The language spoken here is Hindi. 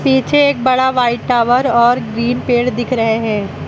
पीछे एक बड़ा व्हाइट टावर और ग्रीन पेड़ दिख रहे हैं।